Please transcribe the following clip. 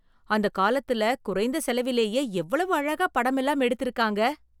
அந்த காலத்துல குறைந்த செலவிலேயே எவ்வளவு அழகா படமெல்லாம் எடுத்து இருக்காங்க